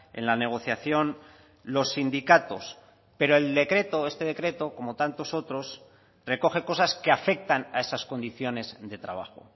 en la negociación los sindicatos pero el decreto este decreto como tantos otros recoge cosas que afectan a esas condiciones de trabajo